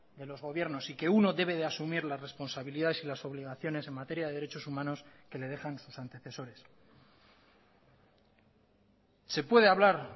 de los gobiernos y que uno debe de asumir las responsabilidades y las obligaciones en materia de derechos humanos que le dejan sus antecesores se puede hablar